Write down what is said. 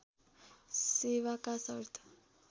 सेवाका शर्त